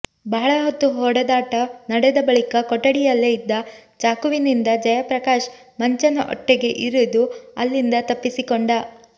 ಬಹಳ ಹೊತ್ತು ಹೊಡೆದಾಟ ನಡೆದ ಬಳಿಕ ಕೊಠಡಿಯಲ್ಲೇ ಇದ್ದ ಚಾಕುವಿನಿಂದ ಜಯಪ್ರಕಾಶ್ ಮಂಚನ್ ಹೊಟ್ಟೆಗೆ ಇರಿದು ಅಲ್ಲಿಂದ ತಪ್ಪಿಸಿಕೊಂಡ